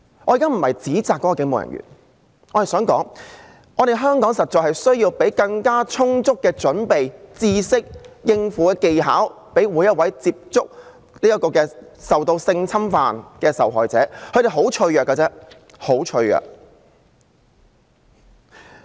"我現在不是要指責該警務人員，而是想說，香港實在需要提供更充足的準備、知識和應對技巧予每位會接觸性侵犯受害者的人員，因為受害者十分脆弱。